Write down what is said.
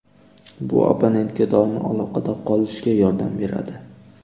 Bu abonentga doimo aloqada qolishga yordam beradi.